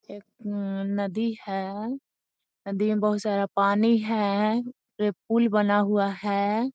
एक न नदी है। नदी में बहुत सारा पानी है ये पूल बना हुआ है।